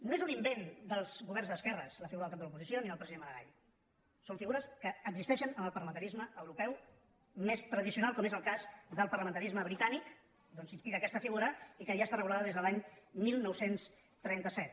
no és un invent dels governs d’esquerres la figura del cap de l’oposició ni del president maragall són figures que existeixen en el parlamentarisme europeu més tradicional com és el cas del parlamentarisme britànic d’on s’inspira aquest figura i que ja està regulada des de l’any dinou trenta set